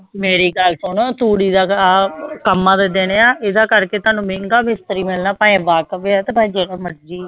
ਮੇਰੀ ਗੱਲ ਸੁਣ ਤੂੜੀ ਦਾ ਆਹ ਕੰਮਾਂ ਦੇ ਦਿਨ ਆਂ ਇਹਦੇ ਕਰਕੇ ਤੁਹਾਨੂੰ ਮਹਿੰਗਾ ਮਿਸਤਰੀ ਮਿਲਣਾ ਭਾਵੇਂ ਵਾਕਫ਼ ਆ ਤੇ ਭਾਵੇਂ ਜਿਹੜਾ ਮਰਜ਼ੀ ਆ।